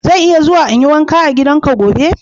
Zan iya zuwa in yi wanka a gidanka gobe?